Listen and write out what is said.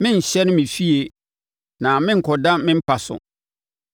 “Merenhyɛne me fie na merenkɔda me mpa so,